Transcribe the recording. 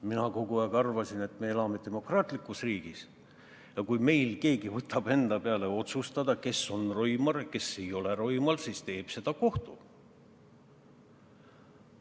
Mina kogu aeg arvasin, et me elame demokraatlikus riigis ja kui meil keegi võtab otsustada, kes on roimar, kes ei ole roimar, siis teeb seda kohus.